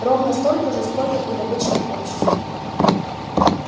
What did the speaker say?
ровно столько же сколько и в обычном обществе